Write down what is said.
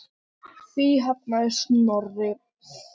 Því hafnaði Snorri.